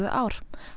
ár